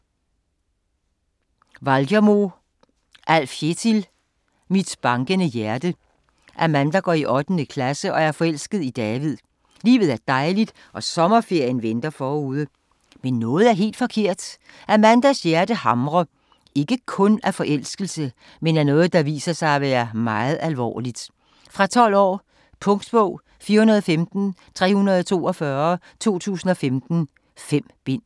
Walgermo, Alf Kjetil: Mit bankende hjerte Amanda går i 8. klasse og er forelsket i David. Livet er dejligt, og sommerferien venter forude. Men noget er helt forkert. Amandas hjerte hamrer - ikke kun af forelskelse, men af noget, der viser sig at være meget alvorligt. Fra 12 år. Punktbog 415342 2015. 5 bind.